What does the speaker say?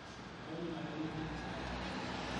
atoningo ajo kemuoi ina kerai